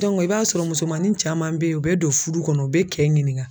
i b'a sɔrɔ musomanin caman bɛ ye u bɛ don fudu kɔnɔ u bɛ cɛ ɲinin